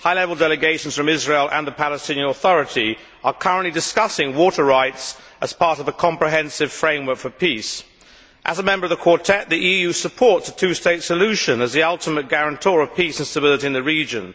High level delegations from Israel and the Palestinian Authority are currently discussing water rights as part of the comprehensive framework for peace. As a member of the Quartet, the EU supports a two state solution as the ultimate guarantor of peace and stability in the region.